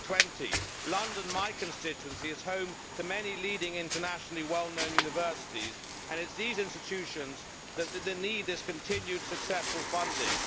2020. London, my constituency, is home to many leading internationally known universities and it is these institutions which need this continued successful funding.